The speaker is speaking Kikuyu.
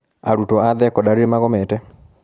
Arutuo a thekondarĩ nĩmagomete.